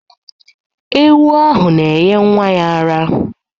Ewu ahụ na-enye nnwa ya ara.